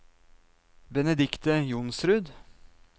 Benedikte Johnsrud